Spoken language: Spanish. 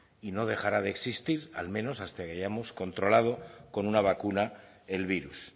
y no dejará de existir al menos hasta que hayamos controlado con una vacuna el virus